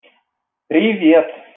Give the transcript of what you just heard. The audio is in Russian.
привет